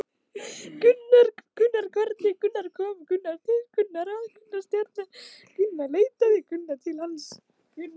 En hvernig kom til að Stjarnan leitaði til hans?